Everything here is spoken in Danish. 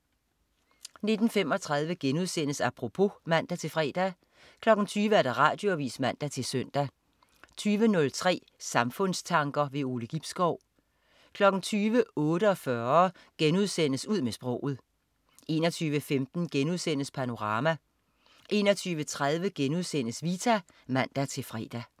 19.35 Apropos* (man-fre) 20.00 Radioavis (man-søn) 20.03 Samfundstanker. Ove Gibskov 20.48 Ud med sproget* 21.15 Panorama* 21.30 Vita* (man-fre)